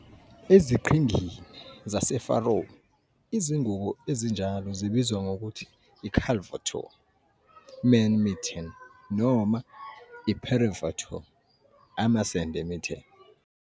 EziQhingini zaseFaroe izingubo ezinjalo zibizwa ngokuthi i- "kallvøttur", man mitten, noma i- "purrivøttur", amasende mitten.